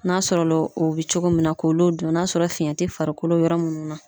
N'a sɔrɔla o bɛ cogo min na k'olu dɔn n'a sɔrɔ fiyɛn tɛ farikolo yɔrɔ minnu na.